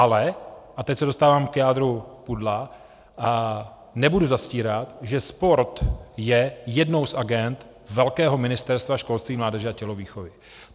Ale, a teď se dostávám k jádru pudla, nebudu zastírat, že sport je jednou z agend velkého Ministerstva školství, mládeže a tělovýchovy.